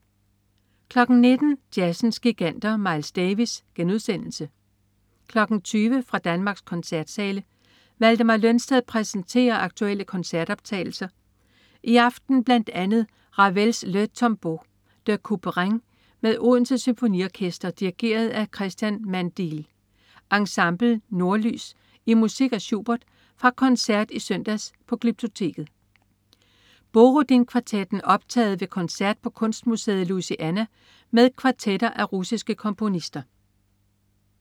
19.00 Jazzens giganter. Miles Davis* 20.00 Fra Danmarks koncertsale. Valdemar Lønsted præsenterer aktuelle koncertoptagelser, i aften bl.a. Ravels le Tombeau de Couperin med Odense Symfoniorkester dirigeret af Cristian Mandeal. Ensemble Nordlys i musik af Schubert fra koncert i søndags på Glyptoteket. Borodinkvartetten optaget ved koncert på Kunstmuseet Louisiana med kvartetter af russiske komponister